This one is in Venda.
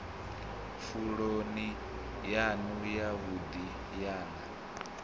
pfuloni yanu yavhudi ye na